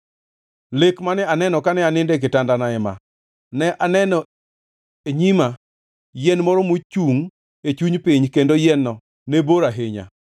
Lek mane aneno kane anindo e kitandana ema: Ne aneno e nyima yien moro mochungʼ e chuny piny kendo yien-no ne bor ahinya.